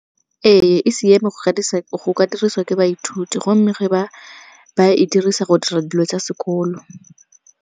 Ee, e siame go ka dirisiwa ke baithuti gomme ge ba e dirisa go dira dilo tsa sekolo.